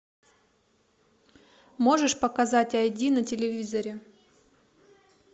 можешь показать айди на телевизоре